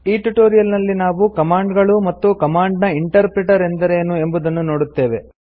ಈ ಟ್ಯುಟೋರಿಯಲ್ ನಲ್ಲಿ ನಾವು ಕಮಾಂಡ್ ಗಳು ಮತ್ತು ಕಮಾಂಡ್ ನ ಇಂಟರ್ ಪ್ರಿಟರ್ ಎಂದರೇನು ಎಂಬುವುದನ್ನು ನೋಡುತ್ತೇವೆ